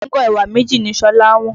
Kóńgò ẹ̀wà méjì ni Ṣọlá wọ́n.